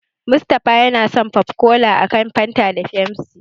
Musa yafi son popcola a kan Fanta da Pepsi.